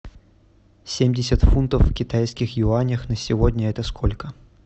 семьдесят фунтов в китайских юанях на сегодня это сколько